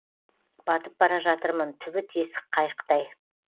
батып бара жатырмын түбі тесік қайықтай